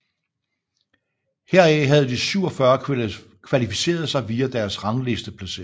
Heraf havde de 47 kvalificeret sig via deres ranglisteplacering